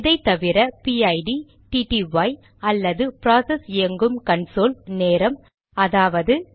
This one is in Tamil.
இதைத்தவிர பிஐடிPID டிடிஒய்TTY அல்லது ப்ராசஸ் இயங்கும் கன்சோல் நேரம் அதாவது